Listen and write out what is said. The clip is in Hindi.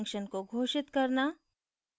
function को घोषित करना